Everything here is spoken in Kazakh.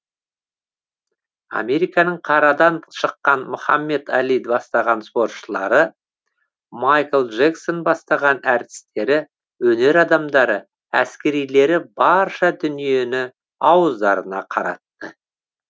американың қарадан шыққан мұхамед али бастаған спортшылары майкл джексон бастаған әртістері өнер адамдары әскерилері барша дүниені ауыздарына қаратты